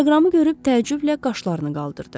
Teleqramı görüb təəccüblə qaşlarını qaldırdı.